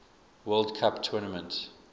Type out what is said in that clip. world cup tournament